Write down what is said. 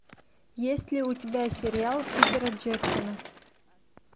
есть ли у тебя сериал питера джексона